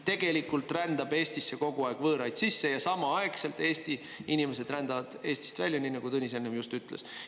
Tegelikult rändab Eestisse kogu aeg võõraid sisse ja samaaegselt Eesti inimesed rändavad Eestist välja, nii nagu Tõnis enne just ütles.